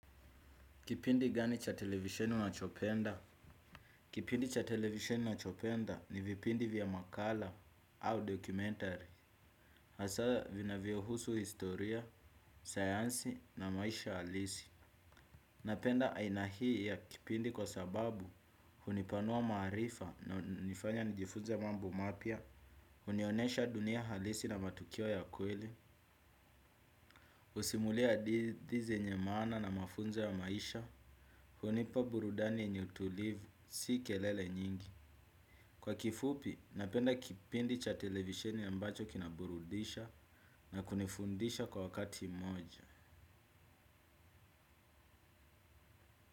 Kipindi gani cha televisheni unachopenda. Kipindi cha televisheni nachopenda ni vipindi vya makala au documentary. Hasa vinavyo husu historia, sayansi na maisha halisi. Napenda aina hii ya kipindi kwa sababu hunipanua maarifa na hunifanya nijifunze mambo mapya. Hunionyesha dunia halisi na matukio ya kweli. Husimulia hadithi yenye maana na mafunzo ya maisha. Hunipa burudani yenye utulivu, si kelele nyingi. Kwa kifupi, napenda kipindi cha televisheni ambacho kina burudisha na kunifundisha kwa wakati mmoja.